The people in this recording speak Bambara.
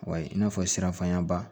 Wa i n'a fɔ siranfayaba